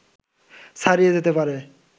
ছাড়িয়ে যেতে পারে